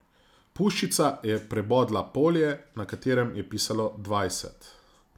Puščica je prebodla polje, na katerem je pisalo dvajset.